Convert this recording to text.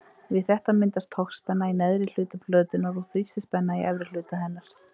Við þetta myndast togspenna í neðri hluta plötunnar og þrýstispenna í efri hluta hennar.